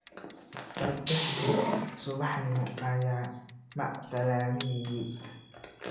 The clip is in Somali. Saddexdii subaxnimo ayuu macsalaameeyay.